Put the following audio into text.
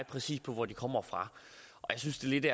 præcis hvor de kommer fra jeg synes lidt